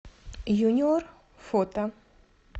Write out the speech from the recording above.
юниор фото